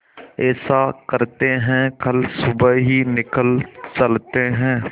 ऐसा करते है कल सुबह ही निकल चलते है